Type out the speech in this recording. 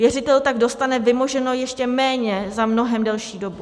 Věřitel tak dostane vymoženo ještě méně za mnohem delší dobu.